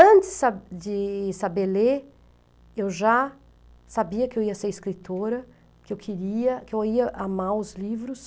Antes sa de saber ler, eu já sabia que eu ia ser escritora, que eu queria, que eu ia amar os livros.